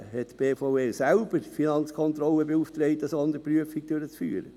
2013 hatte die BVE selbst die Finanzkontrolle beauftragt, eine Sonderprüfung durchzuführen.